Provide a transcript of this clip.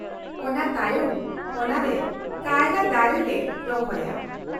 ᱚᱱᱟ ᱛᱟᱭᱚᱢ ᱚᱱᱟ ᱨᱮ ᱠᱟᱭᱨᱟ ᱫᱟᱨᱮ ᱞᱮ ᱨᱚᱦᱚᱭᱟ ᱾